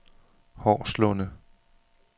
Horslunde